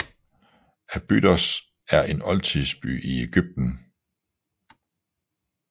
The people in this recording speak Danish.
Abydos er en oldtidsby i Egypten